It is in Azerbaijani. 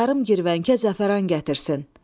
Yarım girvəngə zəfəran gətirsin.